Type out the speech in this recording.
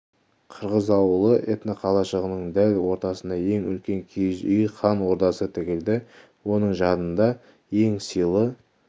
қырғыз ауылы этноқалашығының дәл ортасына ең үлкен киіз үй хан ордасы тігілді оның жанында ең сыйлы